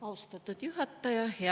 Austatud juhataja!